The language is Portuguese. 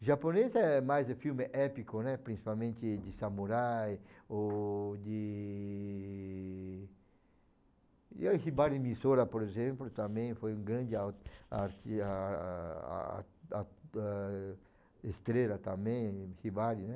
O japonês é mais um filme épico, né, principalmente de samurai ou de... E o Hibari Misora, por exemplo, também foi um grande au arti estrela também, Hibari, né?